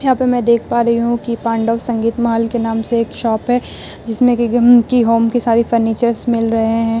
यहाँ पे मैं देख पा रही हूँ की पांडव संगीत महल के नाम से एक शॉप है जिसमें रिघम के होम के सारी फर्नीचर्स मिल रहे है।